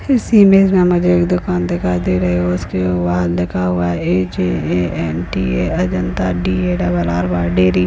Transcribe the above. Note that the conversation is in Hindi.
इस इमेज में मुझे एक दुकान दिखाई दे रही है उसके बाहर लिखा हुआ है A J A N T A Ajanta D A double R Y dairy.